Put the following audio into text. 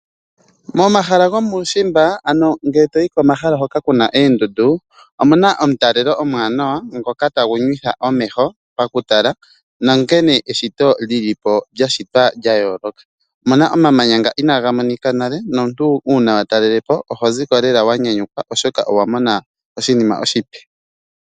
Momahala gomuushimba ano mgele toyi komahala hoka ku na oondundu, omuna omutalelo omwaanawa ngoka tagu nywitha omeho pakutala nonkene eshito lyili po, lya shitwa lya yooloka. Omuna omamanya nga inaa ga monika nale nomuntu uuna wa talele po oho ziko lela wa nyanyukwa, oshoka owa mona oshinima oshipe.